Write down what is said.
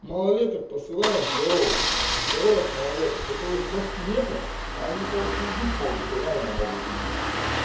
малолеток посылает здоровых здоровых малолеток которых башки нет они короче убить могут реально могут убить